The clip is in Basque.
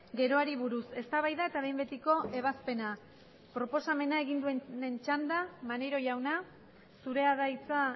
geroari buruz eztabaida eta behin betiko ebazpena proposamena egin duenaren txanda maneiro jauna zurea da hitza